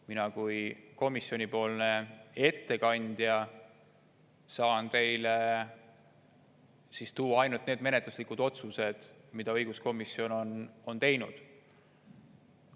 Mina kui komisjoni ettekandja saan teie ette tuua ainult need menetluslikud otsused, mis õiguskomisjon on teinud.